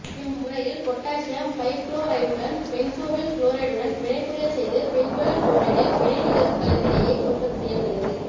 இம்முறையில் பொட்டாசியம் பைபுளோரைடுடன் பென்சோயில் குளோரைடுடன் வினைபுரியச் செய்து பென்சோயில் புளோரைடு வினைநிகழ் களத்திலேயே உற்பத்தி செய்யப்படுகிறது